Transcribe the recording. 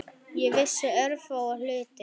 Ég vissi örfáa hluti.